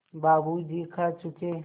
बाबू जी खा चुके